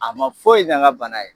A ma foyi ɲa n ka bana ye.